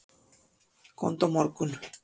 Komdu á morgun.